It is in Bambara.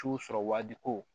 Su sɔrɔ waaji ko